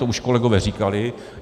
To už kolegové říkali.